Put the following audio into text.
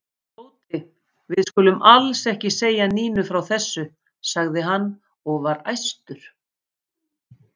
Tóti, við skulum alls ekki segja Nínu frá þessu sagði hann og var æstur.